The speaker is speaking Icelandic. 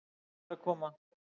Það er að koma!